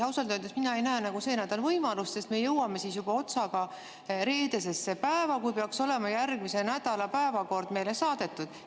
Ausalt öeldes mina ei näe nagu see nädal seda võimalust, sest me jõuame siis juba otsaga reedesesse päeva, kui peaks olema järgmise nädala päevakord meile saadetud.